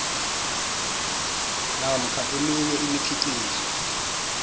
namkha eminye imikhiqizo